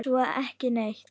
Svo ekki neitt.